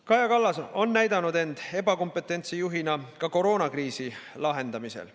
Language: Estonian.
Kaja Kallas on näidanud end ebakompetentse juhina ka koroonakriisi lahendamisel.